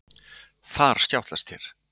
Þar skjátlast þér.